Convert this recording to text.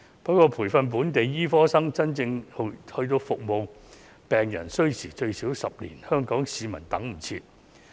不過，由培訓本地醫生到他們能夠真正服務病人需時最少10年，香港市民等不到。